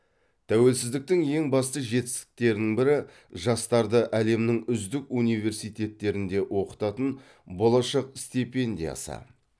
тәуелсіздіктің ең басты жетістіктерінің бірі жастарды әлемнің үздік университеттерінде оқытатын болашақ стипендиясы